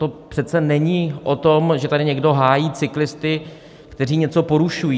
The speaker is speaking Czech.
To přece není o tom, že tady někdo hájí cyklisty, kteří něco porušují.